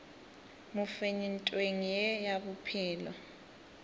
mofenyi ntweng ye ya bophelo